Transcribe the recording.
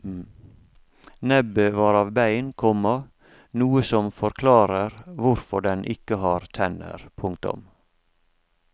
Nebbet var av bein, komma noe som forklarer hvorfor den ikke har tenner. punktum